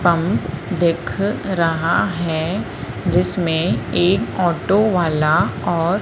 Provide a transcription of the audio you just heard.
pump दिख रहा है जिसमें एक ऑटो वाला और--